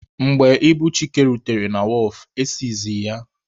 Mgbe ibu Chike rutere na wọọfụ,e sizie ya.